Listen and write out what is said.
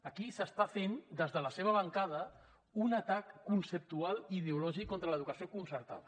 aquí s’està fent des de la seva bancada un atac conceptual i ideològic contra l’educació concertada